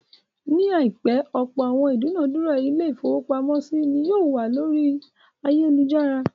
Ní àìpẹ́, ọ̀pọ̀ àwọn ìdúnádura ilé-ìfowópamọ́sí ni yóò wà ní orí ayálujára.